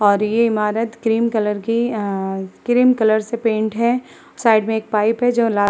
और ये ईमारत क्रीम कलर की आआ क्रीम कलर से पेंट है। साइड में एक पाइप है जो लाल --